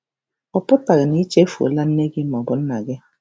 Ọ pụtaghị na i chefuola nne gị ma ọ bụ nna gị.